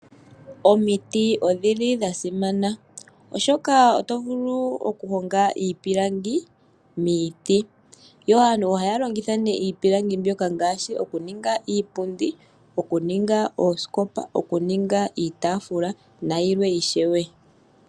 Omiti odhili dha simana, oshoka oto vulu oku honga iipilangi miiti, yo aantu ohaya longitha nee iipilangi mbyoka ngaashi okuninga iipundi, okuninga oosikopa, okuninga iitaafula nayilwe ishewe.